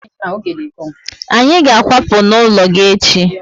Anyị ga akwapu n'ụlọ gị echi